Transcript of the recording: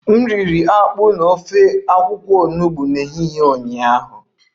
M riri akpu na ofe akwụkwọ onugbo n'ehihie ụnyaahụ